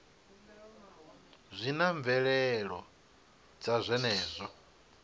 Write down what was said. zwi na mvelelo dza zwenezwo